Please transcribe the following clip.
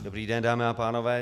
Dobrý den dámy a pánové.